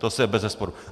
To je bezesporu.